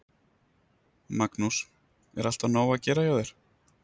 Magnús: Er alltaf nóg að gera hjá þér?